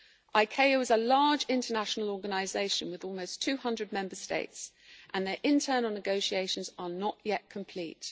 ICAO is a large international organisation with almost 200 member states and their internal negotiations are not yet complete.